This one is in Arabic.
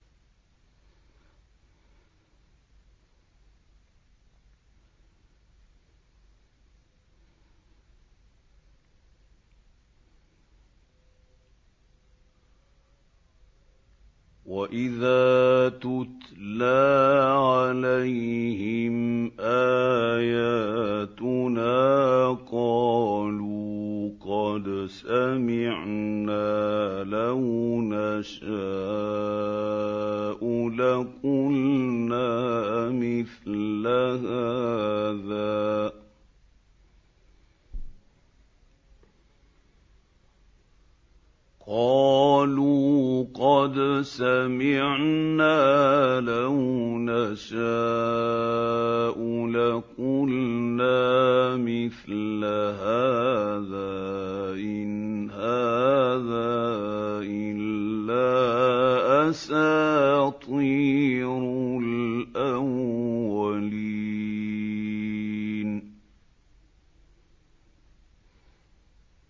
وَإِذَا تُتْلَىٰ عَلَيْهِمْ آيَاتُنَا قَالُوا قَدْ سَمِعْنَا لَوْ نَشَاءُ لَقُلْنَا مِثْلَ هَٰذَا ۙ إِنْ هَٰذَا إِلَّا أَسَاطِيرُ الْأَوَّلِينَ